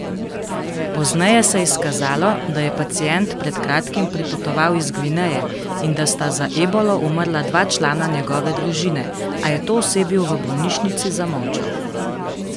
Pozneje se je izkazalo, da je pacient pred kratkim pripotoval iz Gvineje in da sta za ebolo umrla dva člana njegove družine, a je to osebju v bolnišnici zamolčal.